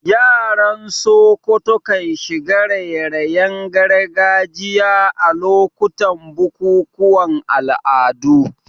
Yaran Sokoto kan shiga raye-rayen gargajiya a lokutan bukukuwan al'adu.